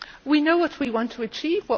We know what we want to achieve.